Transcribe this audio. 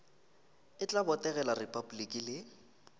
e tla botegela repabliki le